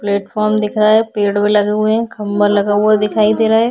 Platform दिख रहा है पेड़ो लगे हुए है खम्बा लगा हुआ दिखाई दे रहा है।